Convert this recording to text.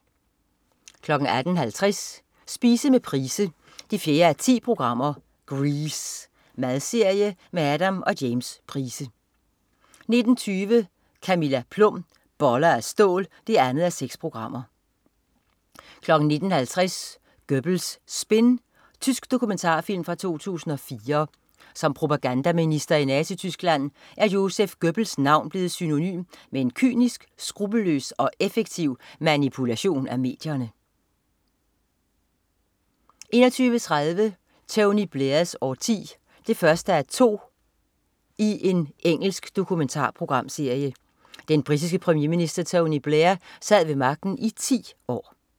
18.50 Spise med Price 4:10. "Grease". Madserie med Adam og James Price 19.20 Camilla Plum. Boller af stål 2:6 19.50 Göbbels spin. Tysk dokumentarfilm fra 2004. Som propagandaminister i Nazityskland er Joseph Göbbels navn blevet synonym med en kynisk, skruppelløs og effektiv manipulation af medierne 21.30 Tony Blairs årti 1:2. Engelsk dokumentarprogram. Den britiske premierminister Tony Blair sad ved magten i ti år